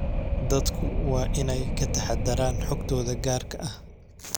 Dadku waa inay ka taxadaraan xogtooda gaarka ah.